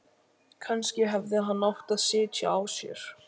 Kannski hefði hann átt að sitja á sér.